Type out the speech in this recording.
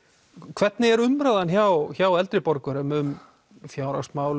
hvernig er umræðan hjá hjá eldri borgurum um fjárhagsmál